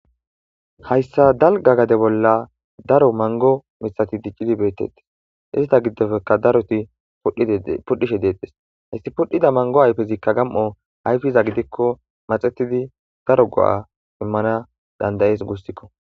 hayssa dalga gade bolla daro mango mitsati diccidi beettettes izita giddofeka daroti pudhishe deettes hayssi pudhida mango ayfezikka gam7o hayfiza gidikko maxetidi daro go7a immana dandayees gussikko